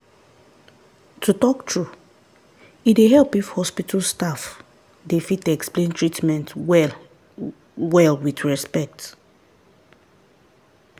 to talk true e dey help if hospital staff dey fit explain treatment well-well with respect.